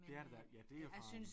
Det er det da ja dét er farven